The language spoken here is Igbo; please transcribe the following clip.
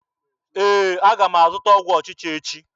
Ee, aga m azụta ọgwụ ọchịcha echi.